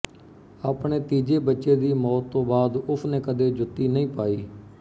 ਆਪਣੇ ਤੀਜੇ ਬੱਚੇ ਦੀ ਮੌਤ ਤੋਂ ਬਾਅਦ ਉਸਨੇ ਕਦੇ ਜੁੱਤੀ ਨਹੀਂ ਪਾਈ